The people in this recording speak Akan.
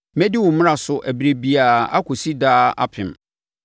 Mɛdi wo mmara so ɛberɛ biara akɔsi daa apem.